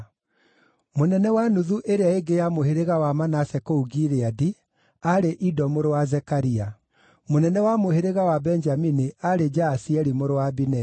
mũnene wa nuthu ĩrĩa ingĩ ya mũhĩrĩga wa Manase kũu Gileadi aarĩ Ido mũrũ wa Zekaria; mũnene wa mũhĩrĩga wa Benjamini aarĩ Jaasieli mũrũ wa Abineri;